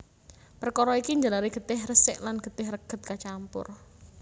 Perkara iki njalari getih resik lan getih reget kacampur